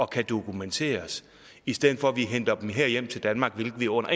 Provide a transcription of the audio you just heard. kan dokumenteres i stedet for at vi henter dem hjem til danmark hvilket vi under